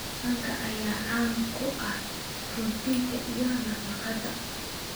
Manka ayaa qani ku ah borotiinka iyo nafaqeynta